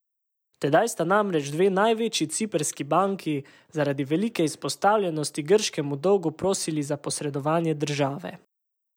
Tedaj sta namreč dve največji ciprski banki zaradi velike izpostavljenosti grškemu dolgu prosili za posredovanje države.